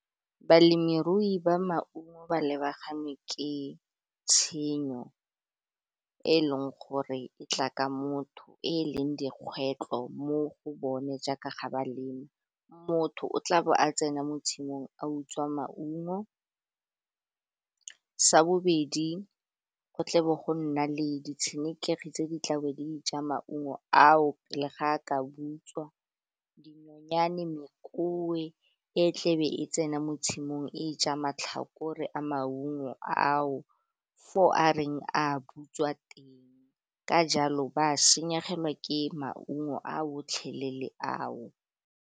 Balemirui ba maungo ba lebagane ke tshenyo e leng gore e tla ka motho e leng dikgwetlo mo go bone jaaka ga baleme motho o tla be a tsena mo tshimong a utswa maungo. Sa bobedi, go tle bo go nna le ditshenekegi tse di tla be ja maungo ao pele ga a ka butswa, dinonyane e tlebe e tsena mo tshimong e ja matlhakore a maungo ao for a reng a butswa teng ka jalo ba a senyegelwa ke maungo a otlhelele ao.